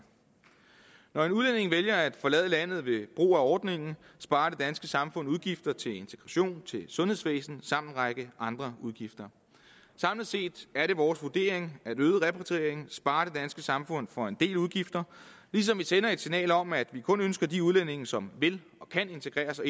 når en udlænding vælger at forlade landet ved brug af ordningen sparer det danske samfund udgifter til integration og til sundhedsvæsen samt en række andre udgifter samlet set er det vores vurdering at øget repatriering sparer det danske samfund for en del udgifter ligesom vi sender et signal om at vi kun ønsker de udlændinge som vil og kan integrere sig